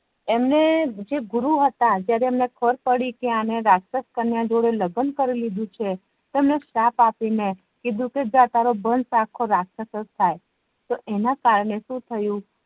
એમને જે ગુરુ હતા જયારે એમને ખબર પડી કે આને રાક્ષસ કાનીયા જોડે લગ્ન કરીલીધું છે તો એમણે શ્રાપ આપી ને કીધું કે જા તારો વંશ અખો રાક્ષસ જ થાય તો એના કારણે શુથાયુ